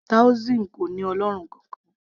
taoism kò ní ọlọ́run kankan